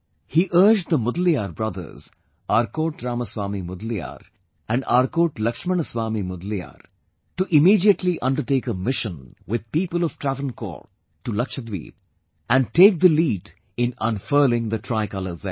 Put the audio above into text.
He urged the Mudaliar brothers, Arcot Ramaswamy Mudaliar and Arcot Laxman Swamy Mudaliar to immediately undertake a mission with people of Travancore to Lakshadweep and take the lead in unfurling the Tricolour there